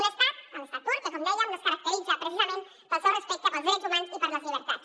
un estat l’estat turc que com dèiem no es caracteritza precisament pel seu respecte pels drets humans i per les llibertats